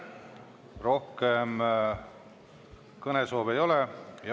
Rohkem kõnesoove ei ole.